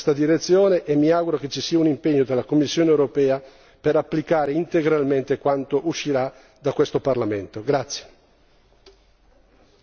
Credo che occorra lavorare in questa direzione e mi auguro che ci sia un impegno della Commissione europea per applicare integralmente quanto uscirà da questo Parlamento.